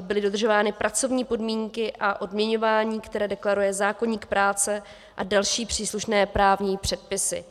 byly dodržovány pracovní podmínky a odměňování, které deklaruje zákoník práce a další příslušné právní předpisy.